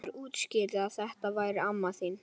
Einhver útskýrði að þetta væri amma mín.